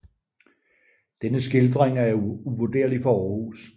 Denne skildring er uvurderlig for Århus